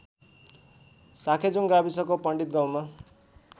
साँखेजुङ गाविसको पण्डितगाउँमा